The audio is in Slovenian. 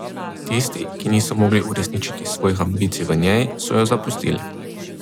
Tisti, ki niso mogli uresničiti svojih ambicij v njej, so jo zapustili.